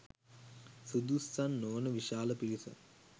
සුදුස්සන් නොවන විශාල පිරිසක්